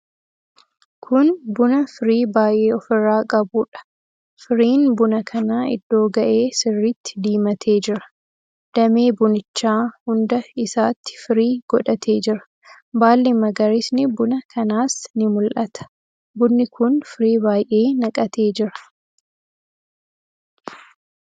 Kun buna firii baay'ee ofirraa qabuudha. Firiin buna kanaa iddoo ga'ee sirriitti diimatee jira. Damee bunichaa hunda isaatti firii godhatee jira. Baalli magariisni buna kanaas ni mul'ata. Bunni kun firii baay'ee naqatee jira.